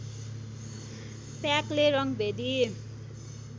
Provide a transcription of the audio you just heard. प्याकले रङ्गभेदी